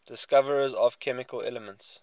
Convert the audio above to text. discoverers of chemical elements